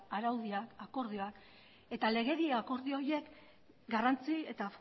araudia akordioak eta legedi akordio horiek garrantzi eta